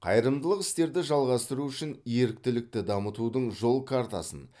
қайырымдылық істерді жалғастыру үшін еріктілікті дамытудың жол картасын